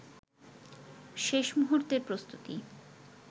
শেষ মুহুর্তের প্রস্তুতি